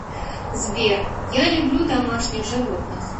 сбер я люблю домашних животных